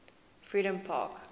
freedompark